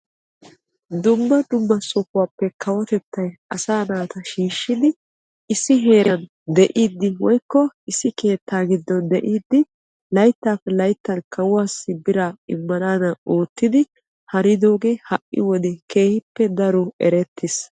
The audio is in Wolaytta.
Dumma dumma sohuwaappe kawotettay asaa naata shiishshidi issi heeran de'iidi woykko issi kettaa giddon de'iidi layttaappe layttaan kawuwaassi biraa immanaadan hanidoogee ha'i wode keehippe daro erettees.